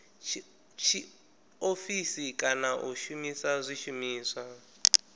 tshiofisi kana u shumisa zwishumiswa